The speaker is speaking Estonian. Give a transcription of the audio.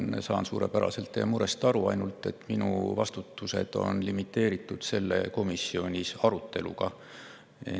Ma saan suurepäraselt teie murest aru, ainult et minu vastused on limiteeritud komisjoni aruteluga.